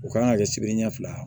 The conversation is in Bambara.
O kan ka kɛ sibiri ɲɛ fila ye